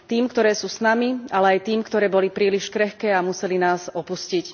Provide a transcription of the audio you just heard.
Tým, ktoré sú s nami, ale aj tým, ktoré boli príliš krehké a museli nás opustiť.